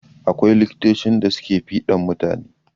Akwai likitocin da suke fiɗan mutane.